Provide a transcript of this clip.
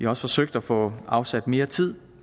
også forsøgt at få afsat mere tid